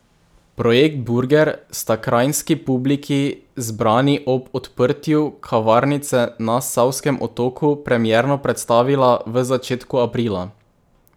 Projekt burger sta kranjski publiki, zbrani ob odprtju kavarnice na Savskem otoku, premierno predstavila v začetku aprila.